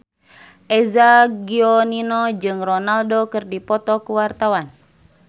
Eza Gionino jeung Ronaldo keur dipoto ku wartawan